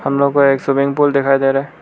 हम लोग को एक स्विमिंग पूल दिखाई दे रहा है।